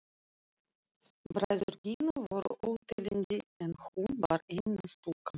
Bræður Gínu voru óteljandi en hún var eina stúlkan.